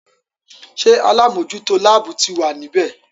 Ṣé alámòjútó láàbù ti wà ní bẹ̀?